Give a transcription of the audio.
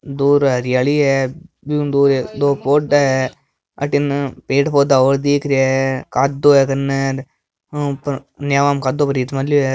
दूर हरियाली है बिहू दूर दो कोड़ा है अठिने पेड़ पोधा और दिख रहिया है कादो हे कने नीवा में कादो भरीज मेल्यो है।